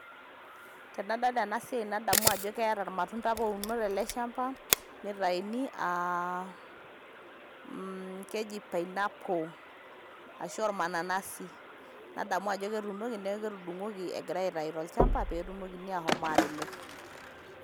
Tenadol ena siaai nadamu ajo keeta ormatunda apa ouno te ale shamba neitaini, keji pineapple ashu ormanananasi nadamu ajo ketuunoki neaku etudung'oki egirai aitai te lchamba peetumokini aashom aatimir.